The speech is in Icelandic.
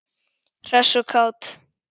Hress og kát.